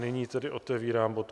Nyní tedy otevírám bod